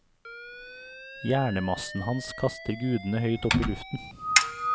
Hjernemassen hans kaster gudene høyt opp i luften.